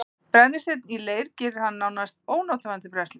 Brennisteinn í leir gerir hann því nánast ónothæfan til brennslu.